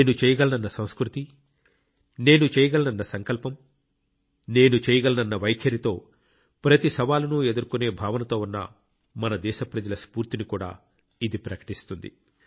నేను చేయగలనన్నసంస్కృతి నేను చేయగలనన్నసంకల్పం నేను చేయగలనన్న వైఖరితో ప్రతి సవాలును ఎదుర్కొనే భావనతో ఉన్న మన దేశ ప్రజల స్ఫూర్తిని కూడా ఇది ప్రకటిస్తుంది